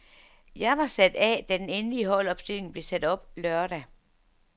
Jeg var sat af, da den endelig holdopstilling blev sat op lørdag.